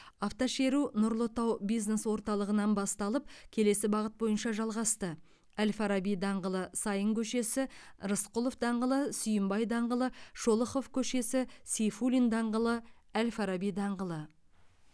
автошеру нұрлы тау бизнес орталығынан басталып келесі бағыт бойынша жалғасты әл фараби даңғылы саин көшесі рысқұлов даңғылы сүйінбай даңғылы шолохов көшесі сейфуллин даңғылы әл фараби даңғылы